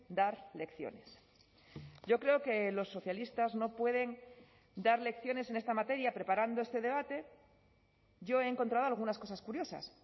dar lecciones yo creo que los socialistas no pueden dar lecciones en esta materia preparando este debate yo he encontrado algunas cosas curiosas